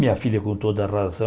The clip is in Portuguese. Minha filha, com toda razão,